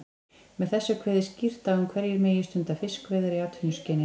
Með þessu er kveðið skýrt á um hverjir megi stunda fiskveiðar í atvinnuskyni.